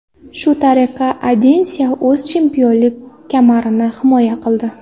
Shu tariqa Adesanya o‘z chempionlik kamarini himoya qildi.